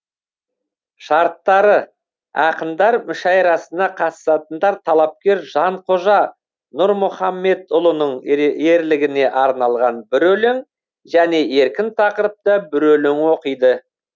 шарттары ақындар мүшәйрасына қатысатындар талапкер жанқожа нұрмұхаммедұлының ерлігіне арналған бір өлең және еркін тақырыпта бір өлең оқиды